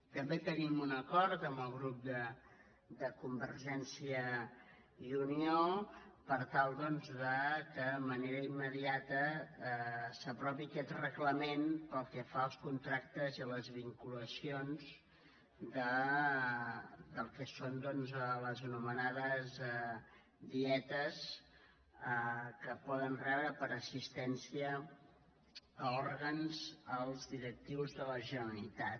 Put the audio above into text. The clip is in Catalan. també tenim un acord amb el grup de convergència i unió per tal doncs que de manera immediata s’aprovi aquest reglament pel que fa als contractes i a les vinculacions del que són doncs les anomenades dietes que poden rebre per assistència a òrgans els directius de la generalitat